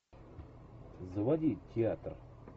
заводи театр